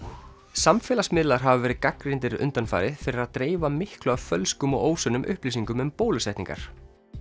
samfélagsmiðlar hafa verið gagnrýndir undanfarið fyrir að dreifa miklu af fölskum og upplýsingum um bólusetningar